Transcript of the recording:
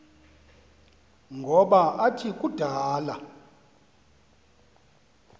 ngoba athi kudala